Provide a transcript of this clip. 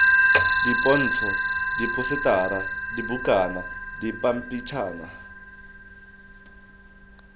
dipontsho diphosetara dibukana dipampitshana jj